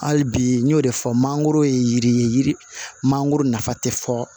Hali bi n y'o de fɔ mangoro ye yiri ye yiri mangoro nafa tɛ fɔ